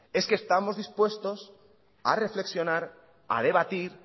es que estamos dispuestos a reflexionar a debatir